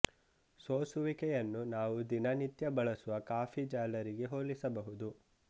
ಸೋಸುವಿಕೆಯನ್ನು ನಾವು ದಿನ ನಿತ್ಯ ಬಳಸುವ ಕಾಫಿ ಜಾಲರಿಗೆ ಹೋಲಿಸಬಹುದು